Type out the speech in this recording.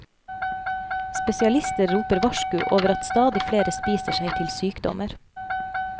Spesialister roper varsku over at stadig flere spiser seg til sykdommer.